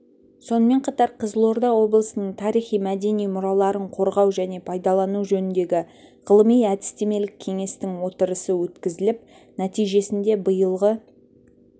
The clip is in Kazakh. сонымен қатар қызылорда облысының тарихи-мәдени мұраларын қорғау және пайдалану жөніндегі ғылыми-әдістемелік кеңестің отырысы өткізіліп нәтижесінде биылғы